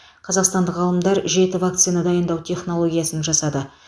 қазақстандық ғалымдар жеті вакцина дайындау технологиясын жасады